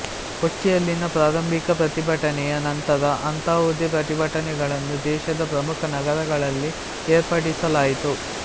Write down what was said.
ಕೊಚ್ಚಿಯಲ್ಲಿನ ಪ್ರಾರಂಭಿಕ ಪ್ರತಿಭಟನೆಯ ನಂತರ ಅಂತಹುದೇ ಪ್ರತಿಭಟನೆಗಳನ್ನು ದೇಶದ ಪ್ರಮುಖ ನಗರಗಳಲ್ಲಿ ಏರ್ಪಡಿಸಲಾಯಿತು